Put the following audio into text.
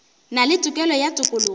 na le tokelo ya tokologo